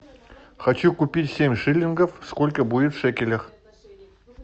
хочу купить семь шиллингов сколько будет в шекелях